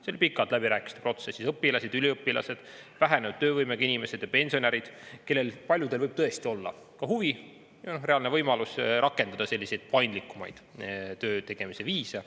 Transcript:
See on pikalt läbirääkimiste protsessis, õpilased, üliõpilased, vähenenud töövõimega inimesed ja pensionärid, kellel paljudel võib tõesti olla ka huvi, reaalne võimalus rakendada selliseid paindlikumaid töötegemise viise.